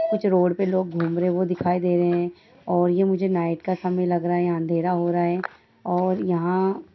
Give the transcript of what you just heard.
कुछ रोड पर लोग घूम रहे हैं वो दिखाई दे रहे हैं और ये मुझे नाइट का समय लग रहा है यहाँ अँधेरा हो रहा है और यहाँ --